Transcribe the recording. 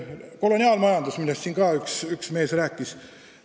Üks mees rääkis siin koloniaalmajandusest.